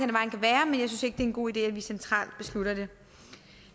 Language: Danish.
hen god idé at vi centralt beslutter det det